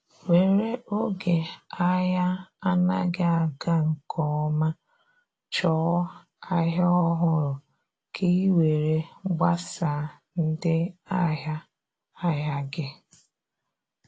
were oge ahia anaghi aga nke ọma chọọ ahịa ọhụrụ ka ị were gbasaa ndị ahịa ahịa gị.